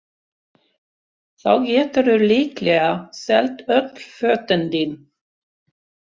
Þá geturðu líklega selt öll fötin þín